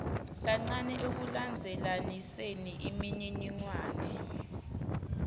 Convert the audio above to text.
kancane ekulandzelaniseni imininingwane